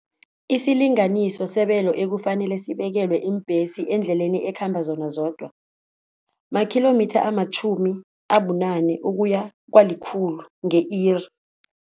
Isilinganiso sebelo ekufanele sibekelwe iimbhesi eendleleni ekhamba zona zodwa, makhilomitha amatjhumi abunane ukuya kwalikhulu nge-iri.